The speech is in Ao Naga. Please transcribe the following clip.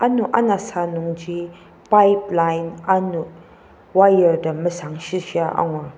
ano anasa nungji pipeleline wire tem mesangshishia angur.